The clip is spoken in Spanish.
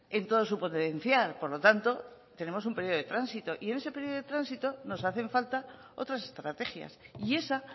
en todo su potencial por lo tanto tenemos un periodo de tránsito y en ese periodo de tránsito nos hacen falta otras estrategias y esa